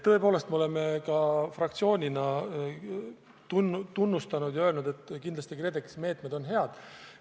Tõepoolest, me oleme ka fraktsioonina öelnud, et kindlasti KredExi meetmed on head.